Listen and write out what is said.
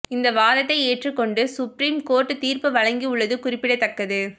இந்த வாதத்தை ஏற்றுக் கொண்டு சுப்ரீம் கோர்ட் தீர்ப்பு வழங்கியுள்ளது குறிப்பிடத்தக்கது